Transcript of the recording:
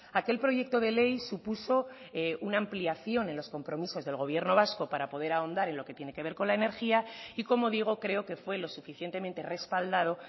aquel proyecto de ley supuso una ampliación en los compromisos del gobierno vasco para poder ahondar en lo que tiene que ver con la energía y como digo creo que fue lo suficientemente respaldado